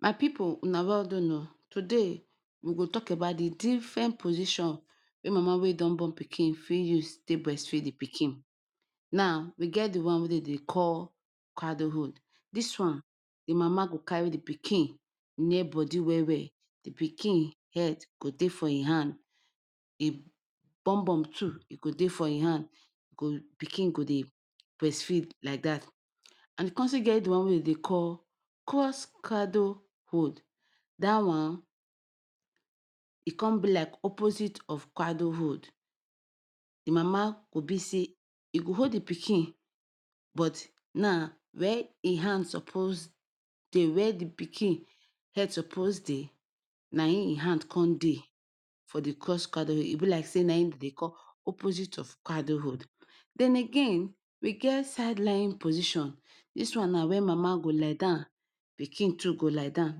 My pipu una well done o. Today we go tok about di diffren position wey mama wey don born pikin fit use dey breastfeed di pikin. Now, we get di one wey dem dey call cradle hold. Dis one, di mama go carry di pikin body well well. Di pikin head go dey for im hand, im bumbum too go dey for im hand. E go Pikin go dey breastfeed like dat. And we still come get one wey dem dey call cross cradle hold. Dat one e come be like opposite of cradle hold. Di mama go still hold di pikin, but now wia im hand suppose dey, wea di pikin head suppose dey. Na em e hand come dey for the cross cradle hold e be like say na em dem dey call opposite of cradle hold. Den again, we get sideline position. Dis one na cross cradle hold mama go lie down, pikin too go lie down.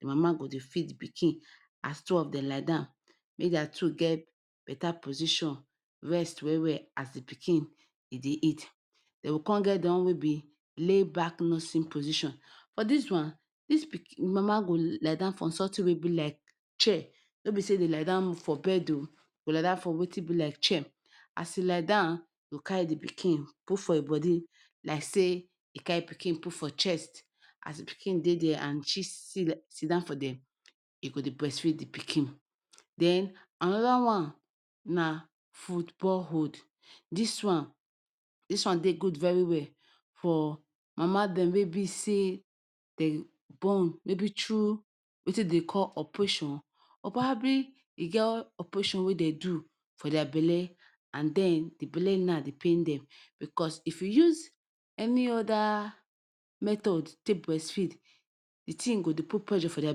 Di mama go dey feed di pikin as two of dem lie down. Make dia two get betta position, rest well well as di pikin dey eat. Den come get di one wey be say back nursing position. For dis one, this pikin mama go lie down for sometin wey be like chair no be say e dey lie down for bed o. E go lie down for wetin be like chair. As e lie down, e go carry di pikin put for im body like say e carry pikin put for chest. As di pikin dey dia and she sidon for dia, e go dey breastfeed di pikin. Den anoda one na football hold. Dis one dis one dey good very well for mama dem wey be say dem born maybe through wetin dem dey call operation or probably e get operation wey dem do for dia belle and den di belle now dey pain dem. Bicos if you use any oda method take breastfeed, di tin go dey put pressure for dia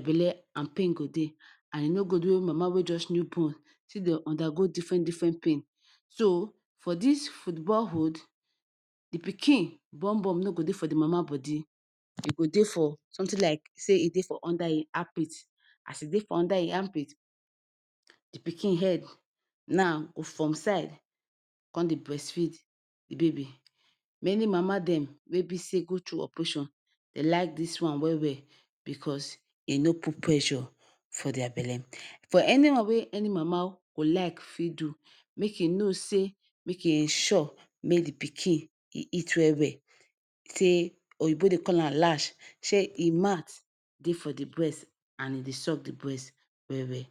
belle and pain go dey. E no good make mama wey just born still dey undergo diffren diffren pain. So for dis football hold, di pikin bumbum no go dey for di mama body. E go dey for sometin like say e dey under her armpit. As e dey for under her armpit, di pikin head now from side go dey breastfeed di baby. Many mama dem wey go through operation dey like dis one well well bicos e no put pressure for dia belle. For anyone wey any mama go like fit do, make she know say make she sure say di pikin dey eat well well. say Oyinbo dey call am latch make im mouth dey for di breast and e dey suck di breast well well.